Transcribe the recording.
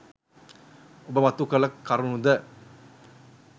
ඔබ මතු කළ කරුණු ද